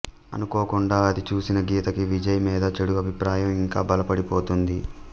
అనుకోకుండా అది చూసిన గీత కి విజయ్ మీద చెడు అభిప్రాయం ఇంకా బలపడిపోతుంది